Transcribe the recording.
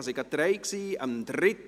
es waren gleich drei.